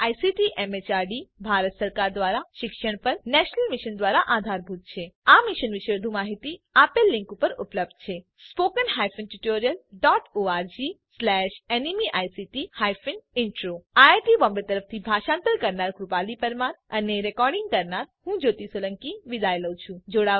જે ICT MHRD Bharat સરકાર દ્વારા શિક્ષણ પર નેશનલ મિશન દ્વારા આધારભૂત છે આ મિશન વિશે વધુ માહીતી આ લીંક ઉપર ઉપલબ્ધ છે spoken hyphen tutorial dot org slash NMEICT hyphen intro IIT Bombay તરફથી ભાષાંતર કરનાર હું કૃપાલી પરમાર વિદાય લઉં છું